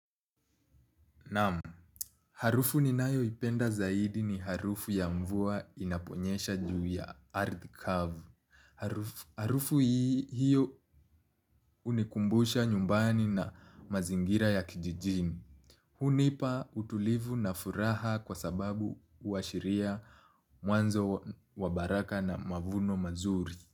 Harufu ninayo ipenda zaidi ni harufu ya mvua inaponyesha juu ya ardhi kavu. Harufu hii hiyo hunikumbusha nyumbani na mazingira ya kijijini. Hunipa utulivu na furaha kwa sababu uhashiria mwanzo wa baraka na mavuno mazuri.